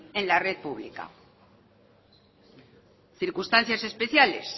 en la red pública circunstancias especiales